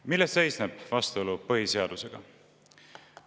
Milles seisneb vastuolu põhiseadusega?